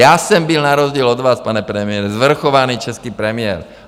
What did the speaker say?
Já jsem byl na rozdíl od vás, pane premiére, svrchovaný český premiér.